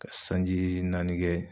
Ka sanji naani kɛ